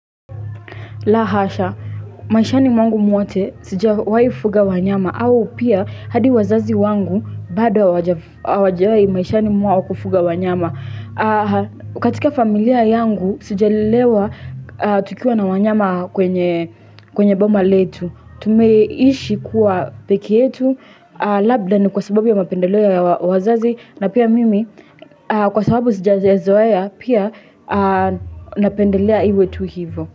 La hasha, maishani mwangu mwote sijawahifuga wanyama au pia hadi wazazi wangu bado wajawai maishani mwao kufuga wanyama katika familia yangu sija lelewa tukiwa na wanyama kwenye boma letu Tumeishi kuwa peke yetu Labda ni kwa sababu ya mapendeleo ya wazazi na pia mimi kwa sababu sija za zoeya pia napendelea iwe tu hivo.